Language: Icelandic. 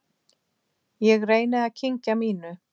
Ég reyni að kyngja mínu.